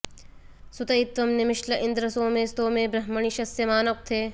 सु॒त इत्त्वं निमि॑श्ल इन्द्र॒ सोमे॒ स्तोमे॒ ब्रह्म॑णि श॒स्यमा॑न उ॒क्थे